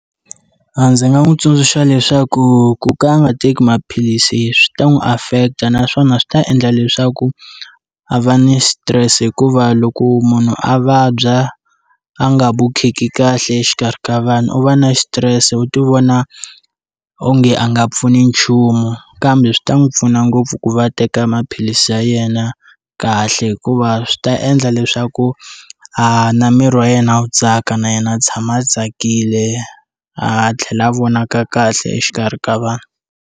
Ndzi nga n'wi tsundzuxa leswaku ku ka a nga teki maphilisi swi ta n'wi affect-ta naswona swi ta endla leswaku a va ni stress hikuva loko munhu a vabya a nga vukheki kahle exikarhi ka vanhu u va na xitirese u ti vona onge a nga pfuni nchumu kambe swi ta n'wi pfuna ngopfu ku va teka maphilisi ya yena kahle hikuva swi ta endla leswaku a na miri wa yena wu tsaka na yena a tshama a tsakile a tlhela a vonaka kahle exikarhi ka vanhu.